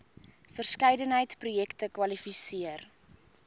verskeidenheid projekte kwalifiseer